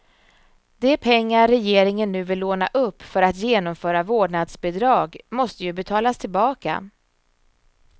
De pengar regeringen nu vill låna upp för att genomföra vårdnadsbidrag måste ju betalas tillbaka.